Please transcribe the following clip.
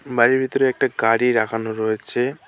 বাড়ির ভিতরে একটা গাড়ি রাখানো রয়েছে।